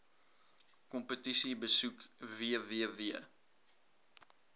kompetisie besoek www